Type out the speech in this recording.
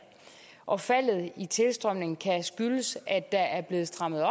og faldet i tilstrømningen kan skyldes at der er blevet strammet